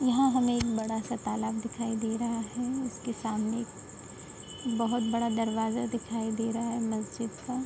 यहाँ हमे एक बड़ा-सा तालाब दिखाई दे रहा है। उसके सामने बोहोत बहुत बड़ा दरवाजा दिखाई दे रहा है मस्जिद का।